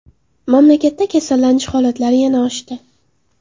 Mamlakatda kasallanish holatlari yana oshdi.